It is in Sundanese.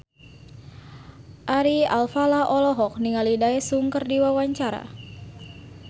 Ari Alfalah olohok ningali Daesung keur diwawancara